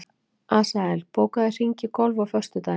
Asael, bókaðu hring í golf á föstudaginn.